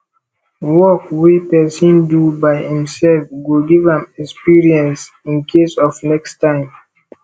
work wey pesin do by imself go give am experience incase of next time